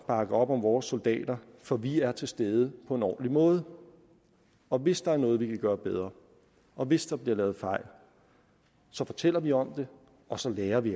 bakke op om vores soldater for vi er til stede på en ordentlig måde og hvis der er noget vi kan gøre bedre og hvis der bliver lavet fejl så fortæller vi om det og så lærer vi